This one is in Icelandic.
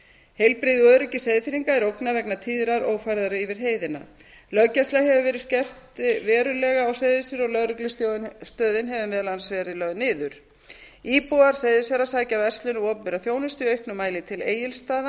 heilbrigði og öryggi seyðfirðinga er ógnað vegna tíðrar ófærðar yfir heiðina löggæsla hefur verið verulega skert á seyðisfirði og lögreglustöðin hefur meðal annars verið lögð niður íbúar seyðisfjarðar sækja verslun og opinbera þjónustu í auknum mæli til egilsstaða